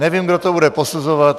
Nevím, kdo to bude posuzovat.